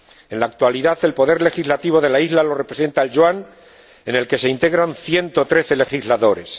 En la actualidad, el poder legislativo de la isla lo representa el Yuan, en el que se integran 113 legisladores.